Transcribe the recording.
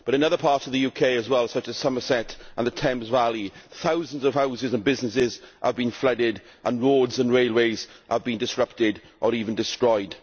In other parts of the UK as well, such as Somerset and the Thames Valley, thousands of houses and businesses have been flooded, and roads and railways have been disrupted or even destroyed.